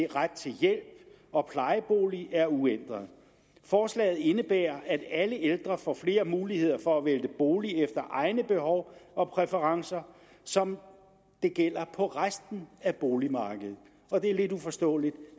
ret til hjælp og plejebolig er uændret forslaget indebærer at alle ældre får flere muligheder for at vælge bolig efter egne behov og præferencer som det gælder for resten af boligmarkedet og det er lidt uforståeligt